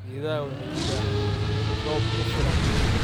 Geedaha waxay u baahan yihiin roob ku filan.